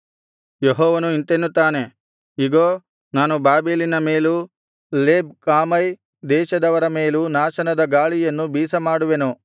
ಯೆಹೋವನು ಇಂತೆನ್ನುತ್ತಾನೆ ಇಗೋ ನಾನು ಬಾಬೆಲಿನ ಮೇಲೂ ಲೇಬ್ ಕಾಮೈ ದೇಶದವರ ಮೇಲೂ ನಾಶನದ ಗಾಳಿಯನ್ನು ಬೀಸಮಾಡುವೆನು